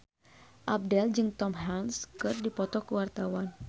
Abdel jeung Tom Hanks keur dipoto ku wartawan